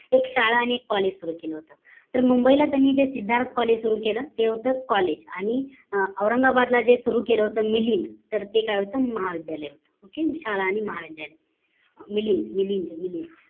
एक शाळा आणि एक college सुरु केलं होत तर मुंबई ला तेनी जे सिद्धार्त collage सुरु केलं ते college आणि औरंगाबाद ला जे होत मिलींन ते काय होत महाविध्यालय okay शाळा आणि महाविद्यालय मिलींन